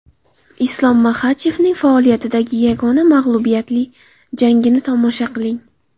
Islom Maxachevning faoliyatidagi yagona mag‘lubiyatli jangini tomosha qiling!